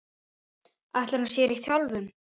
Ætlar hann sér í þjálfun?